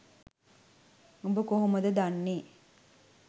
උඹ කොහොමද දන්නේ?